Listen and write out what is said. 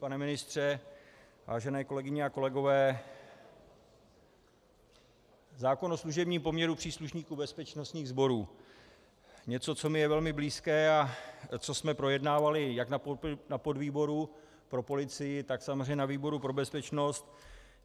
Pane ministře, vážené kolegyně a kolegové, zákon o služebním poměru příslušníků bezpečnostních sborů - něco, co je mi velmi blízké a co jsme projednávali jak na podvýboru pro policii, tak samozřejmě na výboru pro bezpečnost.